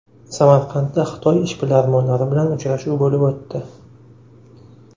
Samarqandda Xitoy ishbilarmonlari bilan uchrashuv bo‘lib o‘tdi.